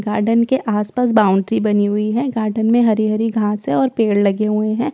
Garden के आसपास boundary बनी हुई है गार्डन में हरी हरी घास है और पेड़ लगे हुए हैं।